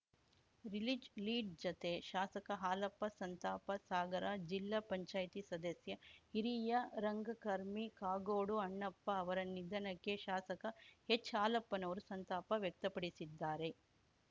release lead ಜತೆ ಶಾಸಕ ಹಾಲಪ್ಪ ಸಂತಾಪ ಸಾಗರ ಜಿಲ್ಲಾ ಪಂಚಾಯಿತಿ ಸದಸ್ಯ ಹಿರಿಯ ರಂಗಕರ್ಮಿ ಕಾಗೋಡು ಅಣ್ಣಪ್ಪ ಅವರ ನಿಧನಕ್ಕೆ ಶಾಸಕ ಹೆಚ್‌ ಹಾಲಪ್ಪನವರು ಸಂತಾಪ ವ್ಯಕ್ತಪಡಿಸಿದ್ದಾರೆ